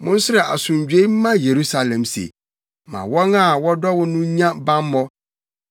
Monsrɛ asomdwoe mma Yerusalem se, “Ma wɔn a wɔdɔ wo no nnya bammɔ.